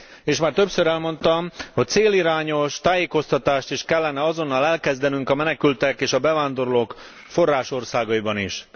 És már többször elmondtam, hogy célirányos tájékoztatást is kellene azonnal elkezdenünk a menekültek és bevándorlók forrásországaiban is.